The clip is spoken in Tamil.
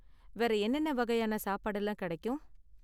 வேற என்னென்ன வகையான சாப்பாடு எல்லாம் கிடைக்கும்?